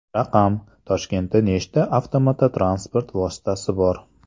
Raqam: Toshkentda nechta avtomototransport vositasi bor?.